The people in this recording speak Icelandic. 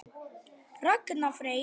Ragnar Freyr.